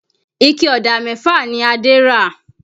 Ike Ọ̀dà mẹ́fà ni Adé ra